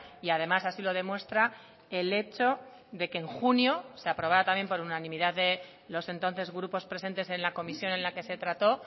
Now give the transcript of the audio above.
y además así lo demuestra el hecho de que en junio se aprobará también por unanimidad de los entonces grupos presentes en la comisión en la que se trató